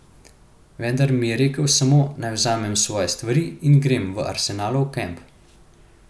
Vendar mi je rekel samo, naj vzamem svoje stvari in grem v Arsenalov kamp.